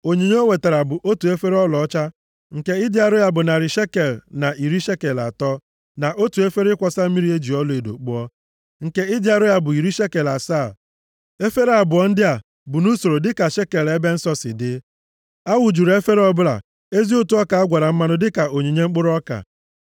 Onyinye o wetara bụ: otu efere ọlaọcha nke ịdị arọ ya bụ narị shekel na iri shekel atọ, na otu efere ịkwọsa mmiri e ji ọlaedo kpụọ, nke ịdị arọ ya bụ iri shekel asaa, efere abụọ ndị a bụ nʼusoro dịka shekel ebe nsọ si dị. A wụjuru efere ọbụla ezi ụtụ ọka a gwara mmanụ dịka onyinye mkpụrụ ọka.